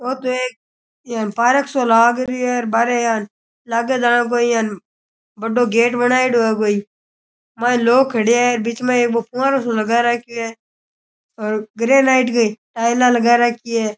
ओ तो एक इयां पार्क सो लाग रियो है बाहरै यान लागे जाने कोई यान बड़ो गेट बनाएडो है कोई माइने लोग खड्या है बिच मै एक बो फंवारो सो लगा राखयो है और ग्रेनाइट की टाइलां लगा राखी है।